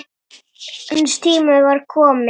Hans tími var kominn.